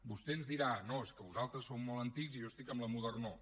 vostè ens dirà no és que vosaltres sou molt antics i jo estic en la modernor